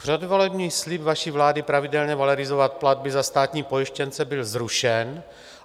Předvolební slib vaší vlády pravidelně valorizovat platby za státní pojištěnce byl zrušen."